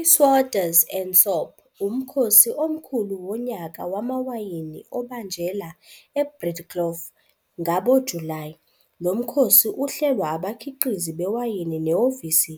iSoetes and Sop umkhosi omkhulu wonyaka wamawayini obanjela eBreedelkoof ngabo July, lomkhosi uhlelwa abakhiqizi bewayini nehhovisi